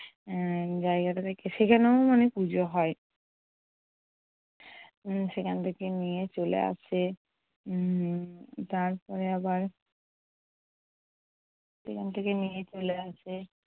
উম জায়গাটা থেকে। সেখানেও মানে পুজো হয়। উম সেখান থেকে নিয়ে চলে আসে। উম তারপরে আবার সেখান থেকে নিয়ে চলে আসে।